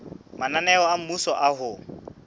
mananeo a mmuso a ho